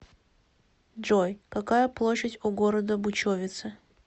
джой какая площадь у города бучовице